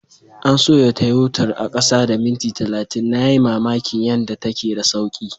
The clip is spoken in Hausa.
An soya Tayotar a kasa da minti talatin, na yi mamakin yanda take da sauki.